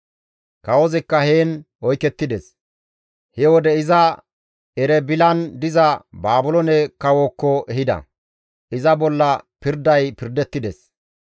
Kawozikka heen oykettides; he wode iza Erebilan diza Baabiloone kawozaakko ehida; iza bolla pirday pirdettides.